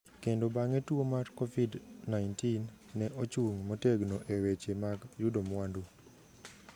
kendo bang’e tuo mar Covid-19, ne ochung’ motegno e weche mag yudo mwandu.